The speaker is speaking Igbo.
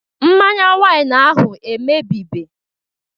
Mmanya wain ahụ emebibe